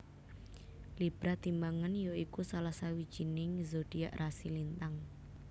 Libra timbangan ya iku salah sawijining zodiak rasi lintang